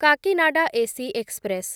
Cocanada AC express